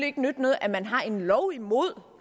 ikke nytte noget at man har en lov imod